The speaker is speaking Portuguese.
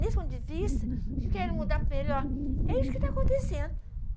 Nesse ponto de vista, o que eu quero mudar para melhor é isso que está acontecendo.